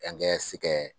An kɛ se kɛ